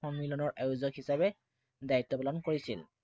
সন্মিলনৰ আয়োজক হিচাপে দায়িত্ব পালন কৰিছিল।